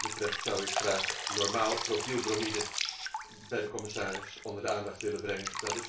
Wat dat betreft zou ik graag normaal methylbromide bij de commissaris onder de aandacht willen brengen.